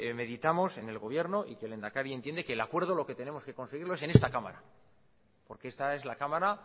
meditamos en el gobierno y que el lehendakari entiende que el acuerdo lo que tenemos que conseguirlo es en esta cámara porque esta es la cámara